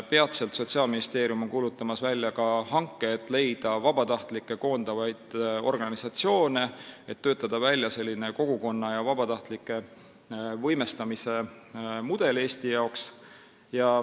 Peatselt on Sotsiaalministeerium kuulutamas välja hanget, et leida vabatahtlikke koondavaid organisatsioone, et töötada Eesti jaoks välja kogukonna ja vabatahtlike võimestamise mudel.